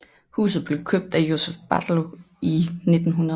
Huset blev købt af Josep Batlló i 1900